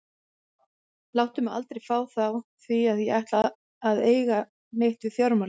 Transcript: Láttu mig aldrei fá þá því að ég ætla aldrei að eiga neitt við fjármálin.